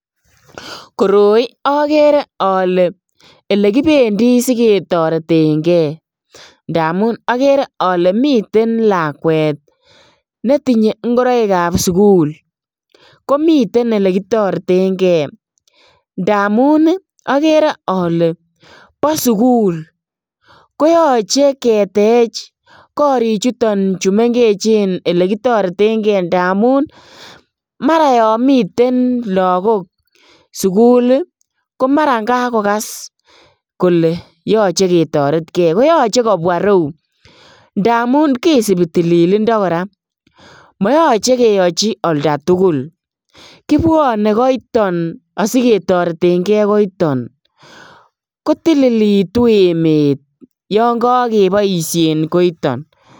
Koroi okere ole olekibendi siketoreten ngee ndamun okere ole miten lakwet netinye ingoroikab sukul komiten elekitoreten ngee, ndamun okere ole bo sukul koyoche ketech korichuton chemengechen elekitoreten ngee ndamun maran yon miten lagok sukul komaran yon kakogas kole yoche ketoretkee, koyoche kobwaa ireu ndamun kisibii tilindoo, koraa moyoche keyochi olda tugul kibwonee koiton asiketorendee ngee koiton kotililitu emet yon kokiboishen koiton.